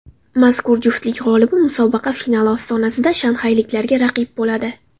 Mazkur juftlik g‘olibi musobaqa finali ostonasida shanxayliklarga raqib bo‘ladi.